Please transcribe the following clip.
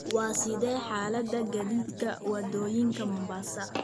Waa sidee xaaladda gaadiidka waddooyinka Mombasa?